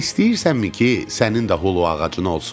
İstəyirsənmi ki, sənin də holu ağacın olsun?